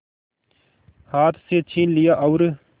हाथ से छीन लिया और